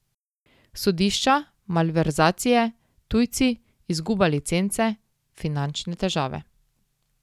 Sodišča, malverzacije, tujci, izguba licence, finančne težave ...